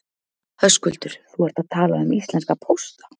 Höskuldur: Þú ert að tala um íslenska pósta?